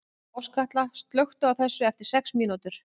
Áskatla, slökktu á þessu eftir sex mínútur.